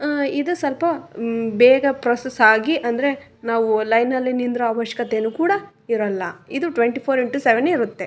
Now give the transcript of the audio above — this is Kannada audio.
ಹ್ಮ್ಮ್ ಇದು ಸಲ್ಪ ಮ್ಮ್ ಬೇಗ ಪ್ರೊಸೆಸ್ಸ್ ಆಗಿ ಅಂದ್ರೆ ನಾವು ಲೈನ್ ನಲ್ಲಿ ನಿಂದ್ರ್ ಆವಶ್ಕತೆ ಕೂಡ ಇರಲ್ಲ ಇದು ಟ್ವೆಂಟಿ ಫೋರ್ ಇಂಟು ಸೆವೆನ್ ಇರುತ್ತೆ.